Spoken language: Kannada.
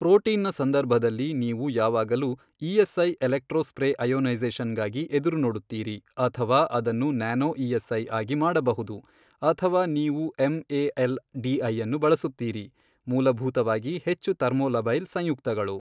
ಪ್ರೋಟೀನ್ ನ ಸಂದರ್ಭದಲ್ಲಿ ನೀವು ಯಾವಾಗಲೂ ಇಎಸ್ಐ ಎಲೆಕ್ಟ್ರೋ ಸ್ಪ್ರೇ ಅಯೋನೈಸೇಷನ್ಗಾಗಿ ಎದುರುನೋಡುತ್ತೀರಿ ಅಥವಾ ಅದನ್ನು ನ್ಯಾನೋ ಇಎಸ್ಐ ಆಗಿ ಮಾಡಬಹುದು ಅಥವಾ ನೀವು ಎಂಎಎಲ್ ಡಿಐಅನ್ನು ಬಳಸುತ್ತೀರಿ ಮೂಲಭೂತವಾಗಿ ಹೆಚ್ಚು ಥರ್ಮೊಲಬೈಲ್ ಸಂಯುಕ್ತಗಳು.